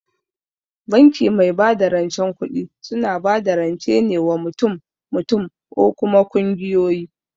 Banki mai bada rancen kuɗi suna bada rance ne wa mutum mutum or kuma kungiyoyi